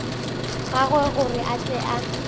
gagwe gore a tle a